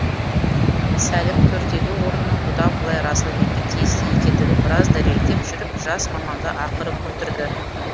сәлім төрдегі орынның бұдан былай расылбекке тиісті екендігін біраз дәлелдеп жүріп жас маманды ақыры көндірді